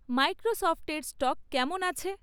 মাইক্রোসফটের স্টক কেমন আছে?